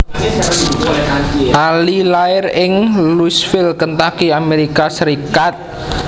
Ali lair ing Louisville Kentucky Amérika Sarékat